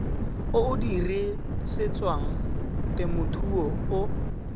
o o dirisetswang temothuo o